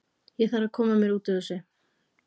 Ég þarf að koma mér út úr þessu.